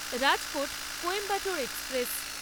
Rajkot Coimbatore express